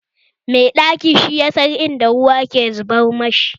Mai ɗaki shi yasan in da ruwa ke zubar mashi